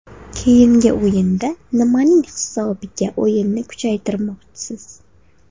Keyingi o‘yinda nimaning hisobiga o‘yinni kuchaytirmoqchisiz?